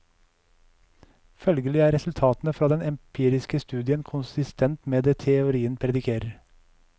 Følgelig er resultatene fra den empiriske studien konsistent med det teorien predikerer.